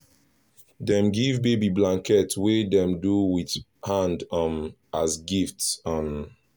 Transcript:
dem give baby blanket wey dem do with hand um as gift um